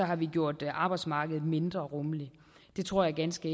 har gjort arbejdsmarkedet mindre rummeligt det tror jeg ganske